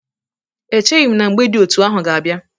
Echeghi m na mgbe dị etu ahụ ga-abịa.